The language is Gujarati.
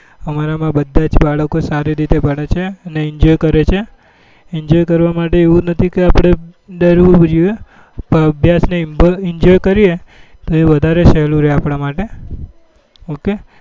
અમારા માં બધા જ બાળકો સારી રીતે ભણે છેઅને enjoy કરે છે enjoy કરવા માટે એવું નથી કે આપડે ડરવું જોઈએ પણ અભ્યાસ ને enjoy કરીએ તો વધારે સહેલું રે અઆપડા માટે ok